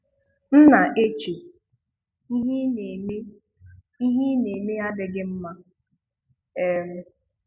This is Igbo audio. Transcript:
M na-eche, "Ihe ị na-eme "Ihe ị na-eme adịghị mma! um